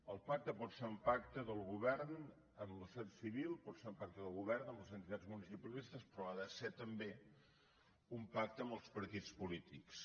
el pacte pot ser un pacte del govern amb la societat civil pot ser un pacte del govern amb les entitats municipalistes però ha de ser també un pacte amb els partits polítics